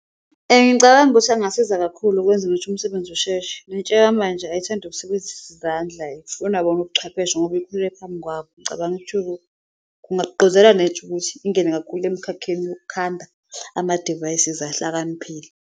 Ngicabangavukuthi angasiza kakhulu ukwenza ukuthi umsebenzi usheshe, nentsha yamanje ayithandi ukusebenzisa izandla ifuna bona ubuchwepheshe ngoba impilo ephambi kwabo. Ngicabanga ukuthi kungabagqugquzela nentsha ukuthi ingene kakhulu emikhakheni yokukhanda amadivayisizi ahlakaniphile.